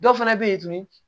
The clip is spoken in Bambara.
Dɔw fana bɛ ye tuguni